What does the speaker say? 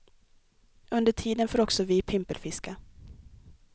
Under tiden får också vi pimpelfiska.